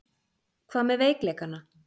Hvað með veikleikana?